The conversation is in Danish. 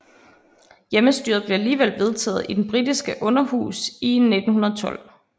Hjemmestyret blev alligevel vedtaget i det britiske Underhus i 1912